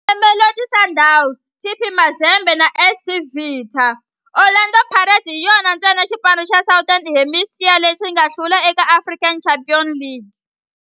Na Mamelodi Sundowns, TP Mazembe na AS Vita, Orlando Pirates hi yona ntsena xipano xa Southern Hemisphere lexi nga hlula eka African Champions League.